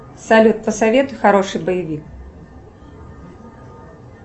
салют посоветуй хороший боевик